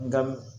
Nka